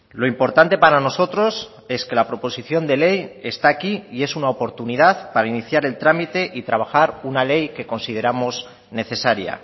lo importante para nosotros es que la proposición de ley está aquí y es una oportunidad para iniciar el trámite y trabajar una ley que consideramos necesaria